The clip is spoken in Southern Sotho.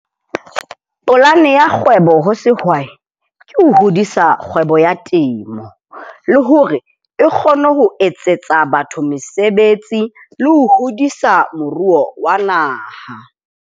Polane ya kgwebo ho sehwai ke ho hodisa kgwebo ya temo. Le hore e kgone ho etsetsa batho mesebetsi le ho hodisa moruo wa naha.